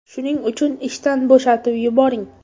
Shuning uchun ishdan bo‘shatib yuboring.